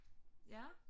Ja